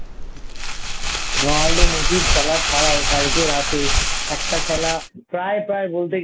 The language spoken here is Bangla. Ronaldo Messi র খেলা ছাড়াও কালকে রাতে একটা খেলা প্রায় প্রায় বলতে গেলে